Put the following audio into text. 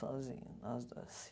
Sozinha, nós dois.